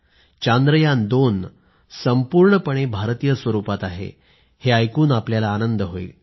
चांद्रयान2 संपूर्णपणे भारतीय स्वरुपात आहे हे ऐकून आपल्याला आनंद होईल